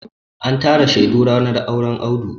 An tara shaidu ranar auren Audu.